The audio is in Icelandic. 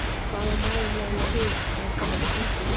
Hvað á maðurinn eiginlega við, að einhver hafi stungið í hana?